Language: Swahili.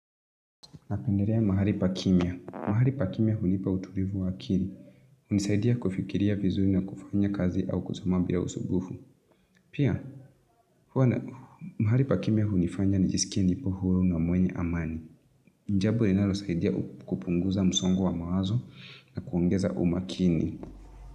Napendelea mahali pa kimya. Mahali pa kimya hunipa utulivu wa akili. Hunisaidia kufikiria vizuri na kufanya kazi au kusoma bila usumbufu. Pia, mahali pa kimya hunifanya nijisikie nipo huru na mwenye amani. Jambo linalosaidia kupunguza msongo wa mawazo na kuongeza umakini.